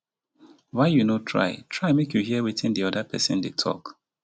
why you no try try make you hear wetin di oda pesin dey tok.